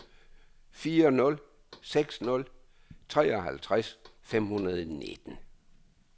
fire nul seks nul treoghalvtreds fem hundrede og nitten